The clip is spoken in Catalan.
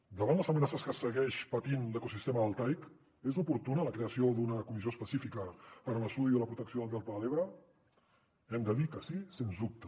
davant les amenaces que segueix patint l’ecosistema deltaic és oportuna la creació d’una comissió específica per a l’estudi de la protecció del delta de l’ebre hem de dir que sí sens dubte